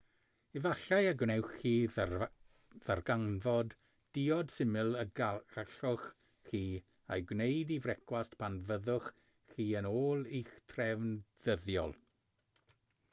efallai y gwnewch chi ddarganfod diod syml y gallwch chi ei gwneud i frecwast pan fyddwch chi yn ôl i'ch trefn ddyddiol